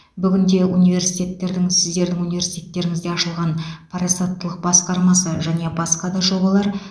бүгінде университеттердің сіздердің университтеріңізде ашылған парасаттылық басқармасы және басқа да жобалар